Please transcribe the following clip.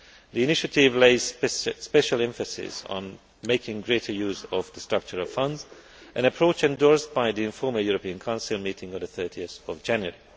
The Initiative lays special emphasis on making greater use of the Structural Funds, an approach endorsed by the informal European Council meeting on 30 January.